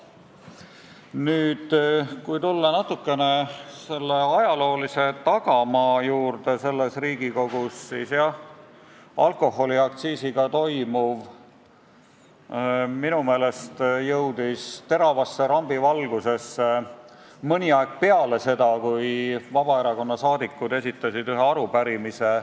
Nüüd, kui natukene tulla selle Riigikogu ajaloolise tagamaa juurde, siis minu meelest jõudis alkoholiaktsiisiga toimuv teravasse rambivalgusesse mõni aeg peale seda, kui Vabaerakonna saadikud olid esitanud ühe arupärimise.